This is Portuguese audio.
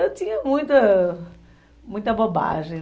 Eu tinha muita, muita bobagem.